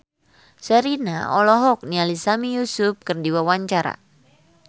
Sherina olohok ningali Sami Yusuf keur diwawancara